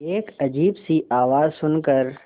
एक अजीब सी आवाज़ सुन कर